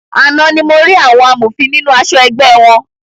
Àna ní mo rí àwọn amòfin nínú aṣọ ẹgbẹ́ wọn.